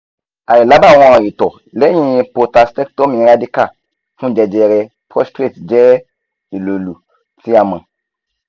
ailabawọn ito lẹhin prostatectomy radical fun jejere prostate jẹ ilolu ti a mọ